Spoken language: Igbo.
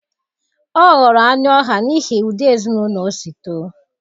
Ọ ghọrọ anụ ọhịa n'ihi ụdị ezinụlọ o si too.